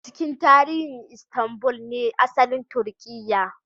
A cikin tarihi Istanbul ne asalin Turkiyya